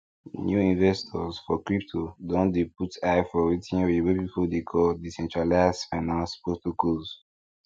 new investors for crypto don dey put eye for wetin oyibo people dey call decentralized finance protocols